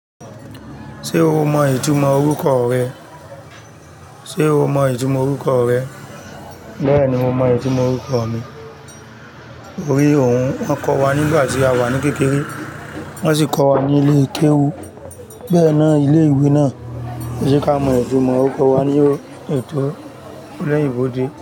Ṣé o mọ ìtumọ̀ orúkọ rẹ? Ṣé o mọ ìtumọ̀ orúkọ rẹ? Bẹ́ẹ̀ni, mo mọ ìtumọ̀ orúkọ mi. To rí òun, wọ́n kọ́ wa nígbà tí a wà ní kékeré, wọ́n sì kọ́ wa ní ilé kéwu. Bẹ́ẹ̀ náà, ilé-ìwé náà lo je ka mọ ìtumọ̀ orúkọ wa ní ẹ̀tọ́ oloyinbo de.